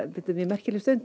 þetta er mjög merkileg stund